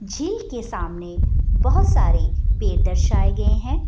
झील के सामने बहोत सारे पेड़ दर्शाये गए हैं।